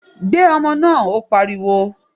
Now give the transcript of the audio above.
Gbé ọmọ náà! Ó pariwo.